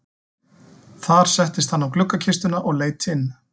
Þar settist hann á gluggakistuna og leit inn.